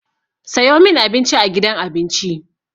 Sayo min Abinci a gidan abinci!